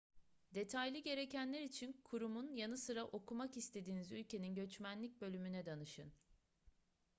detaylı gerekenler için kurumun yanı sıra okumak istediğiniz ülkenin göçmenlik bölümüne danışın